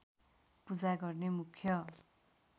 पूजा गर्ने मुख्य